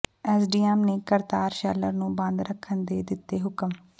SDM ਨੇ Kartar sheller ਨੂੰ ਬੰਦ ਰੱਖਣ ਦੇ ਦਿੱਤੇ ਹੁਕਮ